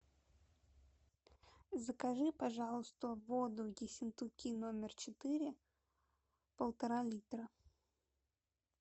закажи пожалуйста воду ессентуки номер четыре полтора литра